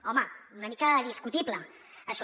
home una mica discutible això